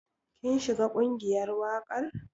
Kin shiga ƙungiyar waƙar?